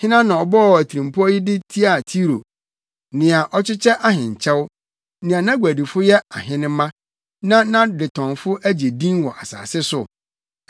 Hena na ɔbɔɔ atirimpɔw yi de tiaa Tiro, nea ɔkyekyɛ ahenkyɛw, nea nʼaguadifo yɛ ahenemma, na nʼadetɔnfo agye din wɔ asase so?